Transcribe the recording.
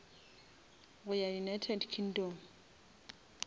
go ya united kingdom